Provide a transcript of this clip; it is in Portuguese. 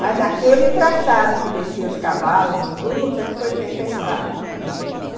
Mas daquele traçado que desciam os cavalos, os burros, é que foi feita a estrada.